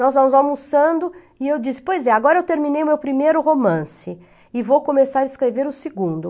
Nós almoçando e eu disse, pois é, agora eu terminei meu primeiro romance e vou começar a escrever o segundo.